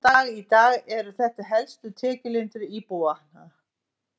Enn þann dag í dag eru þetta helstu tekjulindir íbúanna.